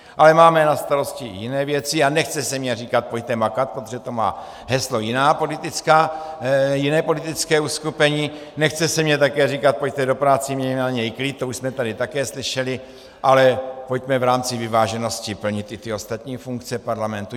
Ale máme na starosti i jiné věci a nechce se mi říkat pojďte makat, protože to má heslo jiné politické uskupení, nechce se mi také říkat pojďte do práce, mějme na ni klid, to už jsme tady také slyšeli, ale pojďme v rámci vyváženosti plnit i ty ostatní funkce parlamentu.